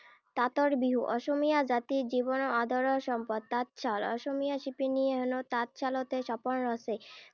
তাঁতৰ বিহু। অসমীয়া জাতিৰ জনজীৱনৰ আদৰৰ সম্পদ তাঁতশাল। অসমীয়া শিপীনীয়ে হেনো তাঁত শালতে সপোন ৰচে।